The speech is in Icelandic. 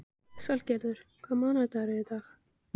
Salgerður, hvaða mánaðardagur er í dag?